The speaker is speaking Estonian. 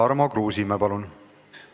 Tarmo Kruusimäe, palun!